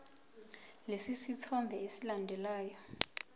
lesi sithombe esilandelayo